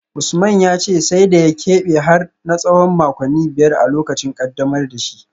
Usman ya ce sai da ya kebe har na tsawon makonni biyar a lokacin kaddamar da shi